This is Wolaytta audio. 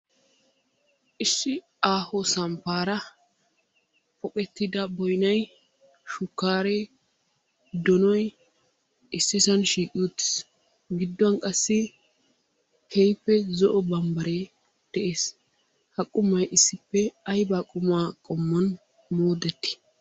Issi aaho samppaara poqettida boynay, shukkaaree, donoyi, issisan shiiqi uttis. Gidduwan qassi keehippe zo'o barbbaree de'es. Ha qumayi issippe aybaa qumaa qonmuwan moodettii?